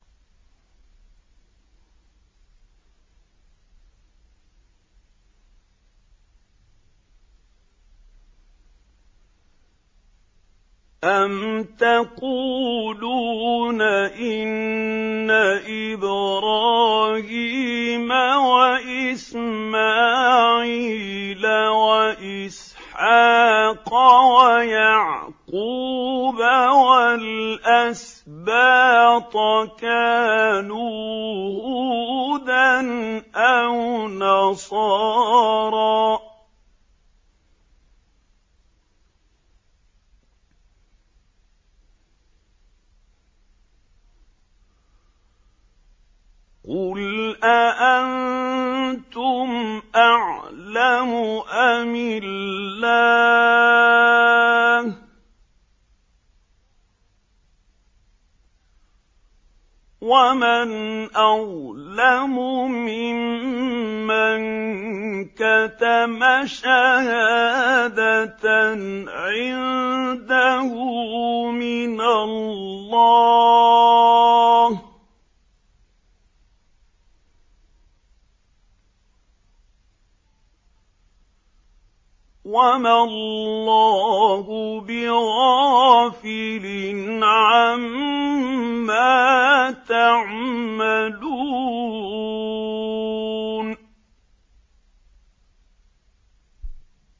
أَمْ تَقُولُونَ إِنَّ إِبْرَاهِيمَ وَإِسْمَاعِيلَ وَإِسْحَاقَ وَيَعْقُوبَ وَالْأَسْبَاطَ كَانُوا هُودًا أَوْ نَصَارَىٰ ۗ قُلْ أَأَنتُمْ أَعْلَمُ أَمِ اللَّهُ ۗ وَمَنْ أَظْلَمُ مِمَّن كَتَمَ شَهَادَةً عِندَهُ مِنَ اللَّهِ ۗ وَمَا اللَّهُ بِغَافِلٍ عَمَّا تَعْمَلُونَ